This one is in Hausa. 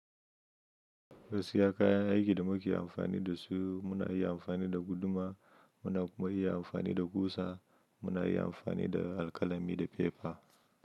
Gaskiya kayan aiki da muke amfani dasu muna iya amfani da guduma, muna kuma iya amfani da ƙusa, muna iya amfani da alkalami da fefa.